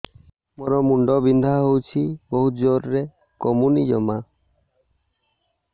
ମୋର ମୁଣ୍ଡ ବିନ୍ଧା ହଉଛି ବହୁତ ଜୋରରେ କମୁନି ଜମା